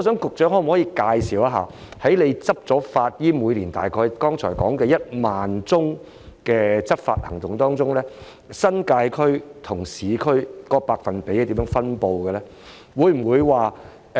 局長可否介紹一下他剛才說每年大概1萬宗的執法行動當中，處理新界區和市區僭建物的百分比是怎樣分布的呢？